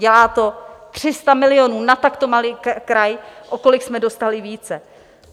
Dělá to 300 milionů na takto malý kraj, o kolik jsme dostali více.